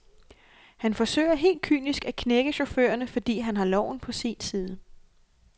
Han forsøger helt kynisk at knække chaufførerne, fordi han har loven på sin side.